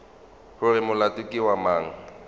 gore molato ke wa mang